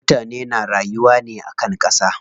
Mutane na rayuwa ne akan ƙasa.